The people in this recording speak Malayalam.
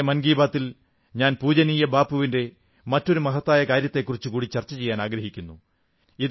ഇന്നത്തെ മൻ കീ ബാതിൽ ഞാൻ പൂജനീയ ബാപ്പുവിന്റെ മറ്റൊരു മഹത്തായ കാര്യത്തെക്കുറിച്ചു കൂടി ചർച്ചചെയ്യാനാഗ്രഹിക്കുന്നു